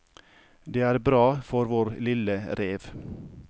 Det er bra for vår lille rev.